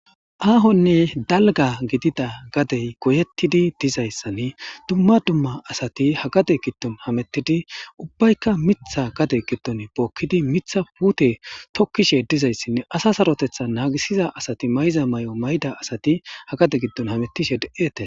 Aahonne dalga gidida gadey goyetidi dizayssanna dumma dumma asay ha gade gidon hametidi ubbayka mitha tookidi mitha puute tokkishe dizayssinne asa sarotethi naagisiza asati mayiza mayo mayodi ha gade giddon hametish detes.